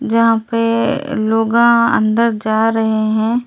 यहां पे लोग अंदर जा रहे हैं।